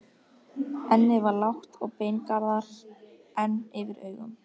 Ennið var lágt og beingarðar enn yfir augum.